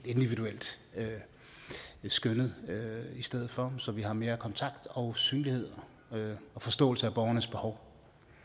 individuelt skøn i stedet for så vi har mere kontakt og synlighed og forståelse af borgernes behov